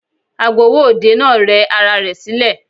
Agbowó òde náà rẹ ara rẹ̀ sílẹ̀.